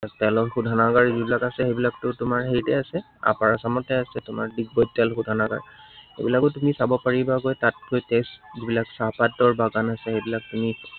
তেলৰ শোধানাগাৰ যিবিলাক আছে, সেইবিলাকতো তোমাৰ হেৰিতে আছে upper assam তে আছে, ডিগবৈত তেল শোধানাগাৰ, এইবিলাকো তুমি চাব পৰিবাগৈ। তাত গৈ test বিলাক চাহপাতৰ বাগান আছে, সেইবিলাক তুমি